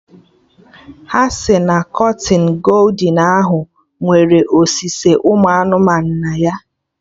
Ha si na kọtịnụ goldin ahụ nwere osuse ụmụ anụmanụ na ya